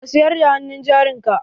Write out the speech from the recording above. Ka siyar da hannun jarin ka?